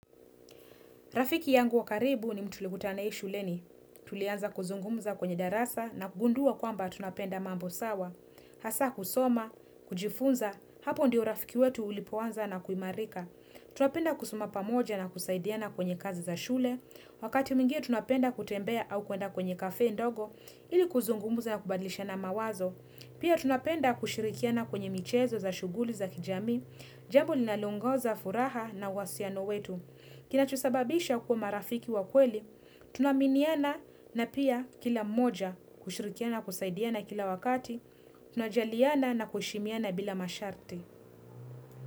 Rafiki yangu wa karibu ni mtu tulikutana na yeye shuleni. Tulianza kuzungumuza kwenye darasa na kugundua kwamba tunapenda mambo sawa. Hasa kusoma, kujifunza, hapo ndiyo rafiki wetu ulipoanza na kuimarika. Tunapenda kusoma pamoja na kusaidiana kwenye kazi za shule. Wakati mwingine tunapenda kutembea au kuenda kwenye kafe ndogo, ili kuzungumuza na kubadlishana mawazo. Pia tunapenda kushirikiana kwenye michezo za shughuli za kijamii, jambo linaloongoza furaha na wasiano wetu. Kinacho sababisha kuwa marafiki wa kweli, tunaminiana na pia kila moja kushirikiana kusaidiana kila wakati, tunajaliana na kuheshimiana bila masharti.